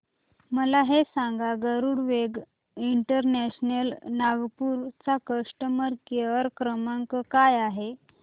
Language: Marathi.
मला हे सांग गरुडवेग इंटरनॅशनल नागपूर चा कस्टमर केअर क्रमांक काय आहे